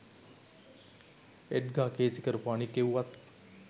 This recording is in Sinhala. එඩ්ගා කේසි කරපු අනික් එව්වත්